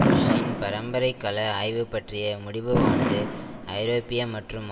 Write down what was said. புஷ்ஷின் பரம்பரைக்கல ஆய்வு பற்றிய முடிவுவானது ஐரோப்பிய மற்றும்